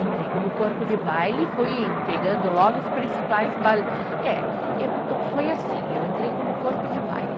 Entrei como corpo de baile e fui pegando logo os principais ba, eh, foi assim, eu entrei como corpo de baile.